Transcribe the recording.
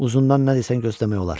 Uzundan nə desən gözləmək olar.